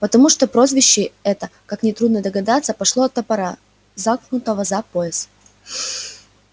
потому что прозвище это как нетрудно догадаться пошло от топора заткнутого за пояс